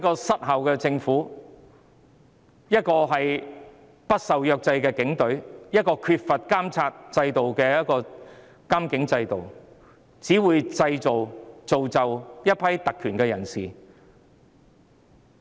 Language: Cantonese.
失效的政府、不受制約的警隊及缺乏監察的監警制度，只會造就一批特權人士。